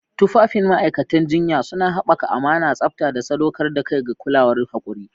Tufafin ma'aikatan jinya suna haɓaka amana, tsabta, da sadaukar da kai ga kulawar haƙuri.